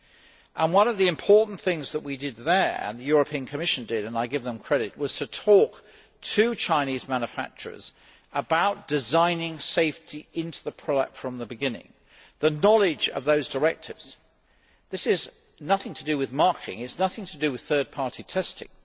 And one of the important things that we did there and that the European Commission did and I give them credit was to talk to Chinese manufacturers about designing safety into the product from the beginning the knowledge of those directives. This is nothing to do with marking, it is nothing to do with third party testing